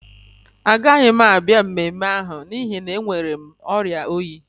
Agaghị m abịa emume ahụ n'ihi na enwere m oria oyi